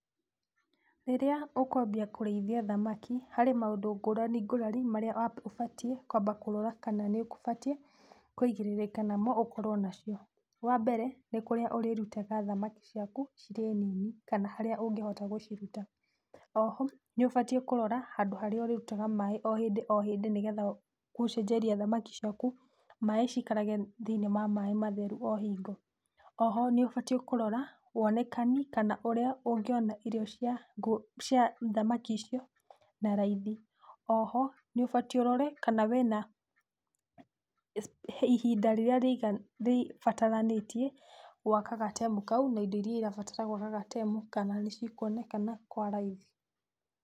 Rĩrĩa ũkwambia kũrĩithia thamaki, harĩ maũndũ ngũrani ngũrani marĩa ũbatiĩ kwamba kũrora kana nĩũkũbatiĩ kũigĩrĩrĩka namo ũkorwo nacio. Wambere nĩ kũrĩa ũrĩrutaga thamaki ciaku cirĩ nini, kana harĩa ũngĩhota gũciruta. Oho nĩ ũbatiĩ kũrora handũ harĩa ũrĩrutaga maaĩ o hĩndĩ o hĩndĩ nĩgetha gũcenjeria thamaki ciaku maaĩ cikarage thĩiniĩ ma maaĩ matheru o hingo. Oho nĩ ũbatiĩ kũrora wone kani, kana ũrĩa ũngĩona irio cia ngũ, cia thamaki icio na raithi. Oho nĩ ũbatiĩ ũrore kana wĩna ihinda rĩrĩa rĩiga, rĩbataranĩtie gwaka gatemu kau na indo iria irabatarania gwaka gatemu kana nĩcikuonekana kwa raithi.